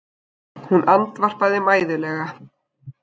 Hún andvarpaði mæðulega.